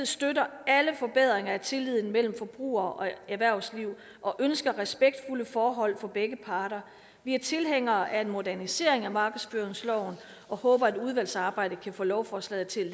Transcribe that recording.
støtter alle forbedringer af tilliden mellem forbrugere og erhvervsliv og ønsker respektfulde forhold for begge parter vi er tilhængere af en modernisering af markedsføringsloven og håber at udvalgsarbejdet kan få lovforslaget til